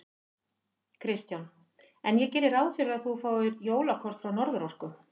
Kristján: En ég geri ráð fyrir að þú fáir jólakort frá Norðurorku?